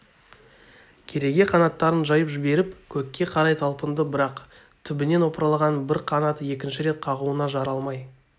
кереге қанаттарын жайып жіберіп көкке қарай талпынды бірақ түбінен опырылған бір қанаты екінші рет қағуына жарамай